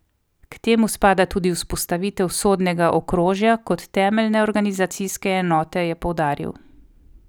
K temu spada tudi vzpostavitev sodnega okrožja kot temeljne organizacijske enote, je poudaril.